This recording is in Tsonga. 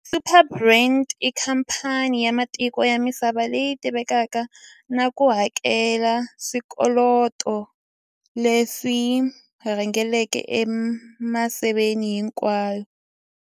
Superbrands i khamphani ya matiko ya misava leyi tivekaka na ku hakela swikoweto leswi rhangelaka emisaveni hinkwayo.